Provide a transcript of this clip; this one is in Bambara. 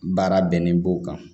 Baara bɛnnen b'o kan